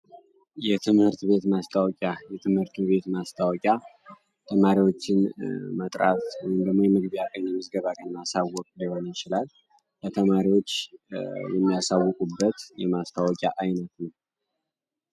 የትምህርት ቤት ማስታወቂያ የትምህርቱ ቤት ማስታወቂያ ተማሪዎችን መጥራት የተማሪወችን መግቢያ ቀን የምዝገባ ለማሳወቅ ሊሆነ ይችላል በተማሪዎች የሚያሳውቁ በት የማስታወቂያ አይነት ነው።